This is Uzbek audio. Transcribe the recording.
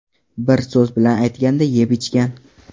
Bir so‘z bilan aytganda, yeb-ichgan.